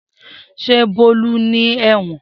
Se Bolu ni ewon